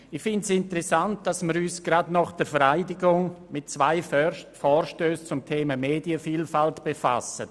Ich finde es interessant, dass wir uns gleich nach der Vereidigung mit zwei Vorstössen zum Thema Medienvielfalt befassen.